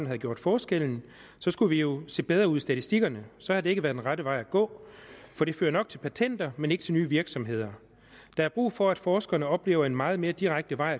havde gjort forskellen så skulle vi jo se bedre ud i statistikkerne så det har ikke været den rette vej at gå for det fører nok til patenter men ikke til nye virksomheder der er brug for at forskerne oplever en meget mere direkte vej